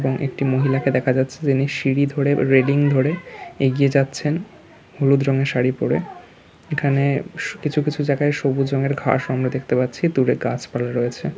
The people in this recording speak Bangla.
এখানে একটি মহিলাকে দেখা যাচ্ছে যিনি সিঁড়ি ধরে রেলিং ধরে এগিয়ে যাচ্ছেন হলুদ রঙের শাড়ি পড়ে এখানে সু কিছু কিছু জায়গায় সবুজ রঙের ঘাস আমরা দেখতে পাচ্ছি। দূরে গাছপালায় রয়েছে।